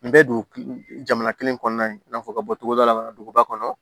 N bɛ dugu jamana kelen kɔnɔna la i n'a fɔ ka bɔ togoda la duguba kɔnɔ